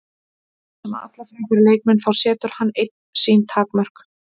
Eins og með alla frábæra leikmenn, þá setur hann einn sín takmörk.